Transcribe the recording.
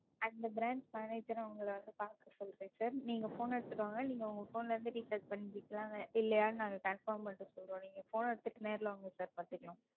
அந்த Branch manager ஐ உங்களை வந்து பாக்க சொல்லுறேன் Sir நீங்க Phone எடுத்துட்டு வாங்க நீங்க உங்க Phone ல இருந்து Recharge பண்ணிருக்கீங்களா? இல்லையான்னு நாங்க Confirm பண்ணிட்டு சொல்றோம். நீங்க Phone எடுத்துட்டு நேர்ல வாங்க Sir பாத்துக்கலாம்.